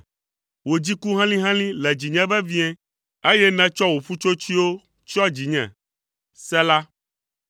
Wò dziku helĩhelĩ le dzinye vevie, eye nètsɔ wò ƒutsotsoewo tsyɔ dzinye. Sela